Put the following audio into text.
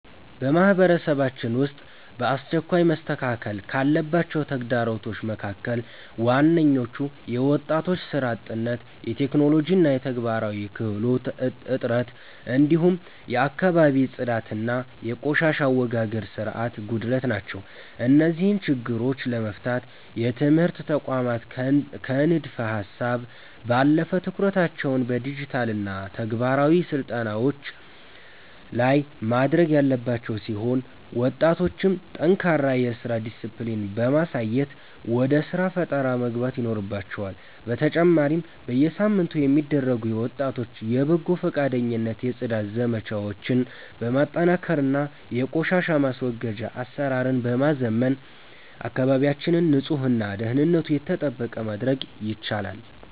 በማህበረሰባችን ውስጥ በአስቸኳይ መስተካከል ካለባቸው ተግዳሮቶች መካከል ዋነኞቹ የወጣቶች ሥራ አጥነት፣ የቴክኖሎጂና የተግባራዊ ክህሎት እጥረት፣ እንዲሁም የአካባቢ ጽዳትና የቆሻሻ አወጋገድ ሥርዓት ጉድለት ናቸው። እነዚህን ችግሮች ለመፍታት የትምህርት ተቋማት ከንድፈ-ሀሳብ ባለፈ ትኩረታቸውን በዲጂታልና ተግባራዊ ስልጠናዎች ላይ ማድረግ ያለባቸው ሲሆን፣ ወጣቶችም ጠንካራ የሥራ ዲስፕሊን በማሳየት ወደ ሥራ ፈጠራ መግባት ይኖርባቸዋል፤ በተጨማሪም በየሳምንቱ የሚደረጉ የወጣቶች የበጎ ፈቃደኝነት የጽዳት ዘመቻዎችን በማጠናከርና የቆሻሻ ማስወገጃ አሰራርን በማዘመን አካባቢያችንን ንጹህና ደህንነቱ የተጠበቀ ማድረግ ይቻላል።